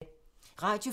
Radio 4